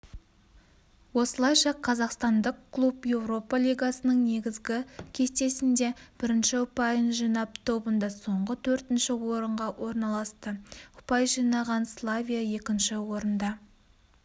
осылайша қазақстандық клуб еуропа лигасының негізгі кестесінде бірінші ұпайын жинап тобында соңғы төртінші орынға орналасты ұпай жинаған славия екінші орында